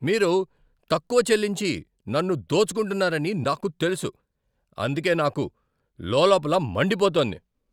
మీరు తక్కువ చెల్లించి నన్ను దోచుకుంటున్నారని నాకు తెలుసు, అందుకే నాకు లోల్లోపల మండిపోతోంది.